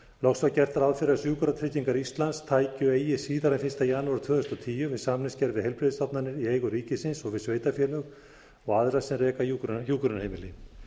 loks var gert ráð fyrir að sjúkratryggingar íslands tækju eigi síðar en fyrsta janúar tvö þúsund og tíu við samningsgerð við heilbrigðisstofnanir í eigu ríkisins og við sveitarfélög og aðra sem reka hjúkrunarheimili